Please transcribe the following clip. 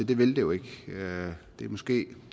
det vil det jo ikke det er måske